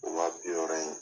O wa bi wɔɔrɔ in.